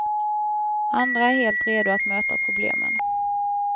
Andra är helt redo att möta problemen.